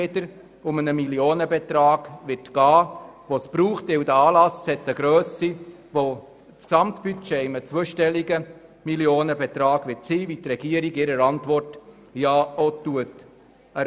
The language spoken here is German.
Das Gesamtbudget wird sich im Bereich eines zweistelligen Millionenbetrags bewegen, wie der Regierungsrat in seiner Antwort ja auch erwähnt.